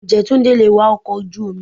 Ǹjẹ́ Túndé lè wa ọkọ̀ ojú omi?